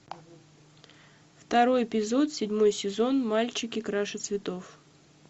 второй эпизод седьмой сезон мальчики краше цветов